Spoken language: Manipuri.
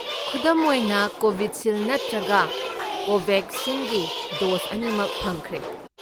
ꯈꯨꯟꯗꯨꯝ ꯂꯣꯏꯅ ꯀꯣꯕꯤꯁꯤꯜꯗ ꯅꯠꯇꯔꯒ ꯀꯣꯕꯦꯛꯁꯤꯟꯒꯤ ꯗꯣꯁ ꯑꯅꯤꯃꯛ ꯐꯪꯈ꯭ꯔꯦ꯫